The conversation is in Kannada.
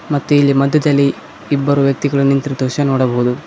ಮತ್ತು ಇಲ್ಲಿ ಮಧ್ಯದಲ್ಲಿ ಇಬ್ಬರು ವ್ಯಕ್ತಿಗಳು ನಿಂತಿರುವ ದೃಶ್ಯವನ್ನು ನೋಡಬಹುದು.